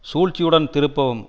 சூழ்ச்சியுடன் திருப்பவும்